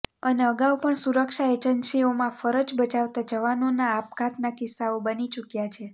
અને અગાઉ પણ સુરક્ષા એજન્સીઓમાં ફરજ બજાવતાં જવાનોનાં આપઘાતનાં કિસ્સાઓ બની ચૂક્યા છે